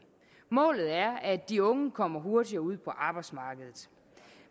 målet er at de unge kommer hurtigere ud på arbejdsmarkedet